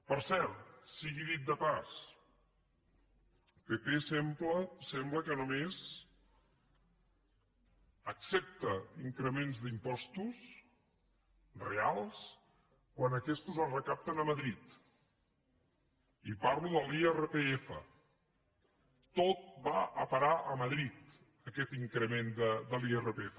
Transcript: per cert sigui dit de passada el pp sembla que només accepta increments d’impostos reals quan aquestos es recapten a madrid i parlo de l’irpf tot va a parar a madrid aquest increment de l’irpf